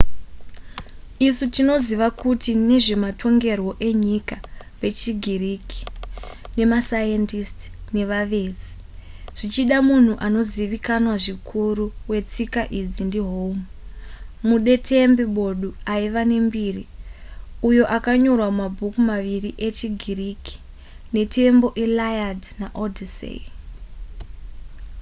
isu tinoziva kuti vezvematongerwo enyika vechigiriki nemasayendisiti nevavezi. zvichida munhu anozivikanwa zvikutu wetsika idzi ndi home mudetembi bodu aiva nembiri uyo akanyorwa mabhuku maviriechigiriki: nhetembo iliad naodyssey